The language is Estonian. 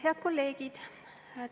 Head kolleegid!